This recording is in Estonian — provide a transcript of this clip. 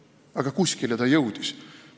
Aga kuskile see jõudis.